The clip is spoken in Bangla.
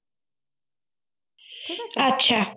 আচ্ছা